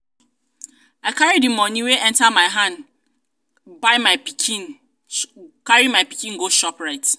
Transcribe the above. um i carry di moni wey enta my hand carry my pikin dey go um shoprite.